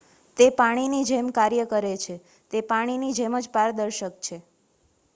"""તે પાણીની જેમ કાર્ય કરે છે. તે પાણીની જેમ જ પારદર્શક છે.